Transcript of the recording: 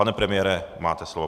Pane premiére, máte slovo.